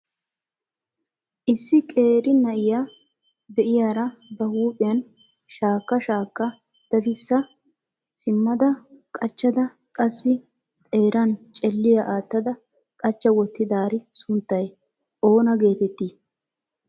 Issi qeeri na'iyaa de'iyaara ba huuphiyaan shaakka shaakka daddisa simmada qachchada qassi xeeran celliya aattada qachcha wottidaari sunttay oona geetetti?